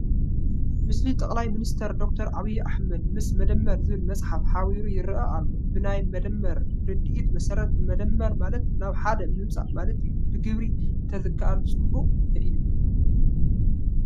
ምስሊ ጠቅላይ ሚኒስተር ዶክተር ዓብዪ ኣሕመድ ምስ መደመር ዝብል ፅሑፍ ሓቢሩ ይርአ ኣሎ፡፡ ብናይ መደመር ርድኢት መሰረት መደመር ማለት ናብ ሓደ ምምፃእ ማለት እዩ፡፡ ብግብሪ እንተዝከኣል ፅቡቕ እዩ፡፡